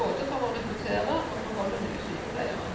både for å rekruttere og beholde nye sykepleiere.